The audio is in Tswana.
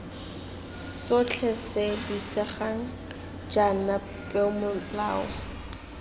sotlhe se buisegang jaana peomolao